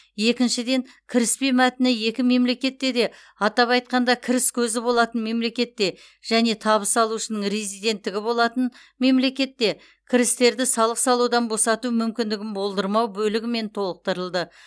екіншіден кіріспе мәтіні екі мемлекетте де атап айтқанда кіріс көзі болатын мемлекетте және табыс алушының резиденттігі болатын мемлекетте кірістерді салық салудан босату мүмкіндігін болдырмау бөлігімен толықтырылды